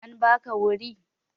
An ba ka wuri?